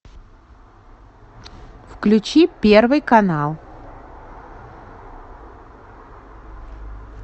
включи первый канал